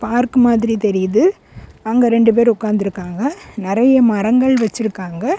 Park மாதிரி தெரியிது அங்க ரெண்டு பேர் உட்காந்துருக்காங்க நெறைய மரங்கள் வச்சிருக்காங்க.